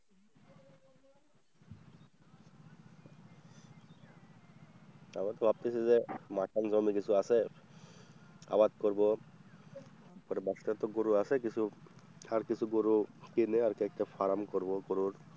তারপরে ভাবতেছি যে মাঠেও জমি কিছু আছে আবাদ করব, তারপরে বাসায় তো গরু আছে কিছু আর কিছু গরু কিনে আরকি একটা ফার্ম করবো গরুর।